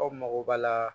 Aw mago b'a la